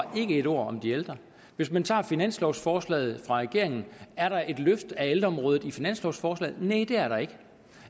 et ord om de ældre hvis man tager finanslovsforslaget fra regeringen er der et løft af ældreområdet i finanslovsforslaget næh det er der ikke